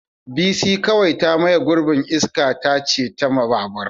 Bisi kawai ta maye gurbin iska tace ta babur.